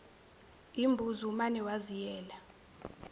imbuzi umane waziyela